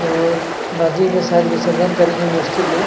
और नदियो में शायद विर्सजन करेंगे मूर्ति को--